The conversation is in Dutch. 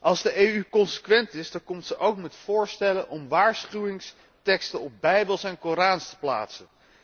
Als de EU consequent is, komt ze ook met voorstellen om waarschuwingsteksten op bijbels en korans te plaatsen.